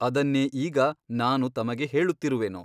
ಅದನ್ನೇ ಈಗ ನಾನು ತಮಗೆ ಹೇಳುತ್ತಿರುವೆನು.